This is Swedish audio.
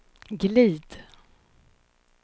glid